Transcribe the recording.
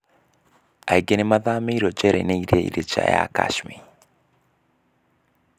Aing? n? matham? ririo njera-in? iria ir? nja ya Kashmir.